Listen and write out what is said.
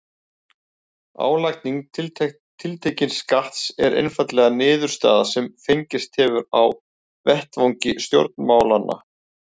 álagning tiltekins skatts er einfaldlega niðurstaða sem fengist hefur á vettvangi stjórnmálanna